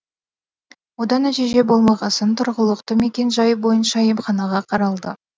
одан нәтиже болмағасын тұрғылықты мекен жайы бойынша емханаға қаралды